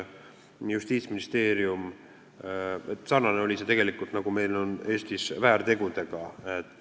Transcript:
Olukord oli tegelikult sarnane olukorraga, mis meil Eestis on väärtegudega.